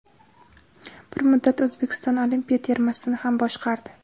Bir muddat O‘zbekiston olimpiya termasini ham boshqardi.